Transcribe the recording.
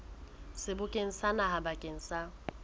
sebokeng sa naha bakeng sa